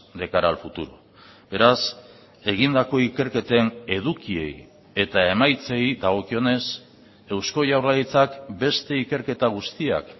de cara al futuro beraz egindako ikerketen edukiei eta emaitzei dagokionez eusko jaurlaritzak beste ikerketa guztiak